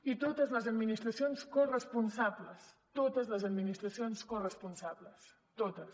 i totes les administracions corresponsables totes les administracions corresponsables totes